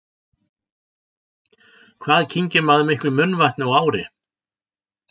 Hvað kyngir maður miklu munnvatni á ári?